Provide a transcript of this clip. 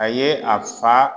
A ye a fa